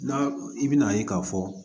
N'a i bɛna ye k'a fɔ